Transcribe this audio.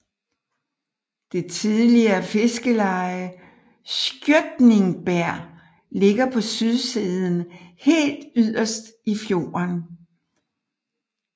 Det tidligere fiskerleje Skjøtningberg ligger på sydsiden helt yderst i fjorden